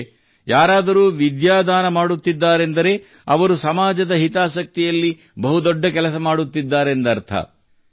ಅಂದರೆ ಯಾರಾದರೂ ವಿದ್ಯಾದಾನ ಮಾಡುತ್ತಿದ್ದಾರೆಂದರೆ ಅವರು ಸಮಾಜದ ಹಿತಾಸಕ್ತಿಯಲ್ಲಿ ಬಹುದೊಡ್ಡ ಕೆಲಸ ಮಾಡುತ್ತಿದ್ದಾರೆಂದರ್ಥ